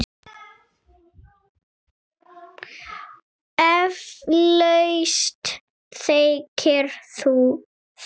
Eflaust þekkir þú það.